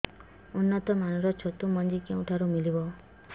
ଉନ୍ନତ ମାନର ଛତୁ ମଞ୍ଜି କେଉଁ ଠାରୁ ମିଳିବ